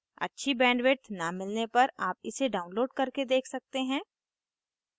अच्छी bandwidth न मिलने पर आप इसे download करके देख सकते हैं